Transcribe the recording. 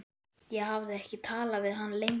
Ég hafði ekki talað við hann lengi.